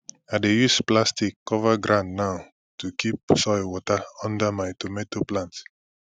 i dey use plastic cover ground now to keep soil water under my tomato plants